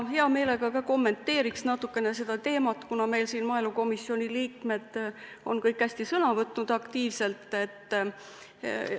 Ma hea meelega ka kommenteeriks natukene seda teemat, kuna maaelukomisjoni liikmed on siin kõik hästi aktiivselt sõna võtnud.